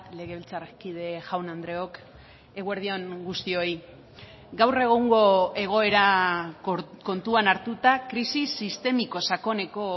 legebiltzarkide jaun andreok eguerdi on guztioi gaur egungo egoera kontuan hartuta krisi sistemiko sakoneko